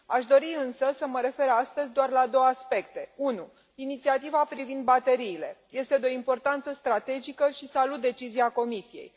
Aș dori însă să mă refer astăzi doar la două aspecte inițiativa privind bateriile este de o importanță strategică și salut decizia Comisiei.